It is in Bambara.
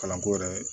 Kalanko yɛrɛ